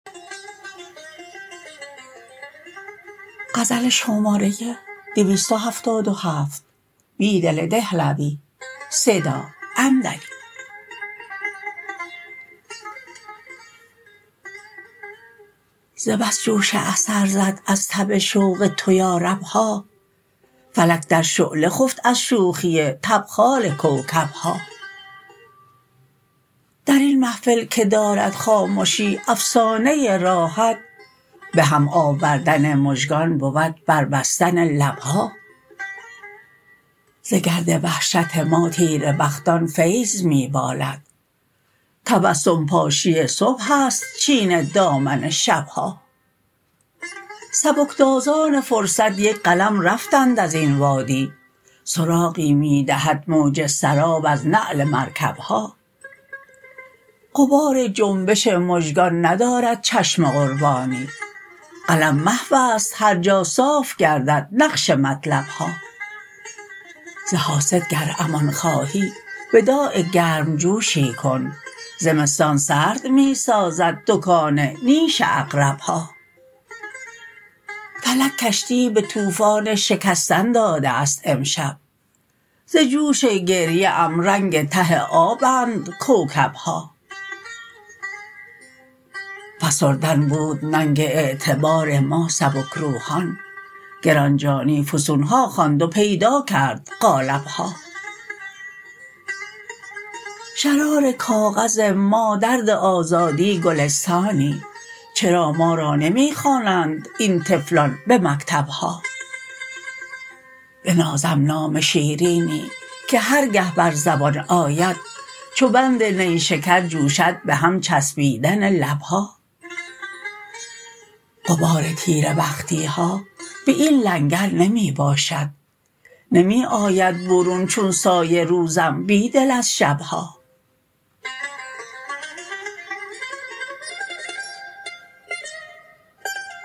ز بس جوش اثر زد از تب شوق تو یارب ها فلک در شعله خفت از شوخی تبخال کوکب ها درین محفل که دارد خامشی افسانه راحت به هم آوردن مژگان بود بربستن لب ها ز گرد وحشت ما تیره بختان فیض می بالد تبسم پاشی صبح است چین دامن شب ها سبک تازان فرصت یک قلم رفتند ازین وادی سراغی می دهد موج سراب از نعل مرکب ها غبار جنبش مژگان ندارد چشم قربانی قلم محواست هرجا صاف گردد نقش مطلب ها ز حاسد گر امان خواهی وداع گرم جوشی کن زمستان سرد می سازد دکان نیش عقرب ها فلک کشتی به توفان شکستن داده است امشب ز جوش گریه ام رنگ ته آبند کوکب ها فسردن بود ننگ اعتبار ما سبک روحان گران جانی فسون ها خواند و پیدا کرد قالب ها شرار کاغذ ما درد آزادی گلستانی چرا ما را نمی خوانند این طفلان به مکتب ها بنازم نام شیرینی که هرگه بر زبان آید چو بند نیشکر جوشد به هم چسبیدن لب ها غبار تیره بختی ها به این لنگر نمی باشد نمی آید برون چون سایه روزم بیدل از شب ها